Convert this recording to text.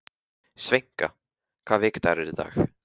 Sveina, hvaða vikudagur er í dag?